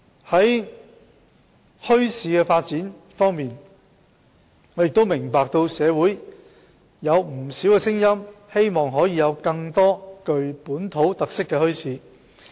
在墟市發展方面，我明白社會上有不少聲音希望可以設立更多具本土特色的墟市。